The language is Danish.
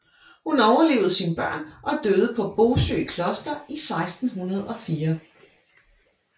Hun overlevede sine børn og døde på Bosø Kloster i 1604